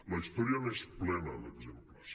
la història n’és plena d’exemples